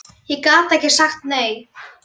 Ég gat ekki sagt nei.